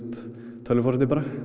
tölvuforriti